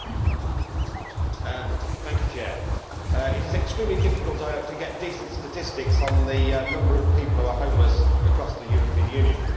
Madam President, it is extremely difficult to get decent statistics on the number of people who are homeless across the European Union.